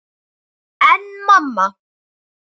En mamma!